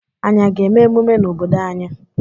Anyị a ga-eme emume n'obodo anyị?